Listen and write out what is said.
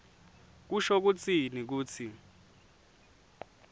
kusho kutsini kutsi